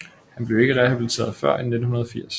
Han blev ikke rehabiliteret før end i 1980